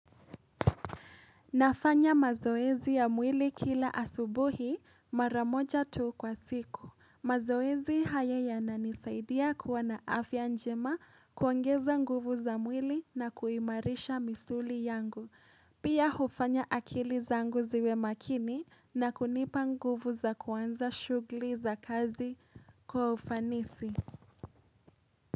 Nafanya mazoezi ya mwili kila asubuhi mara moja tu kwa siku. Mazoezi haya yananisaidia kuwa na afya njema, kuongeza nguvu za mwili na kuimarisha misuli yangu. Pia hufanya akili zangu ziwe makini na kunipa nguvu za kuanza shughuli za kazi kwa ufanisi.